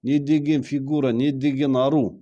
не деген фигура не деген ару